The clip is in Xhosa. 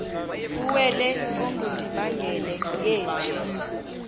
kuwele ongundimangele yeenje